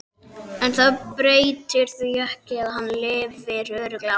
En það breytir því ekki að hann lifir örugglega áfram.